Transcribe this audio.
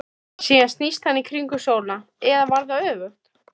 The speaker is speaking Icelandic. Síðan snýst hann í kringum sólina, eða var það öfugt?